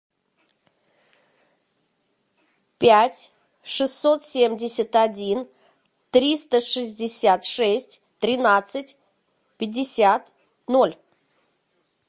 пять шестьсот семьдесят один триста шестьдесят шесть тринадцать пятьдесят ноль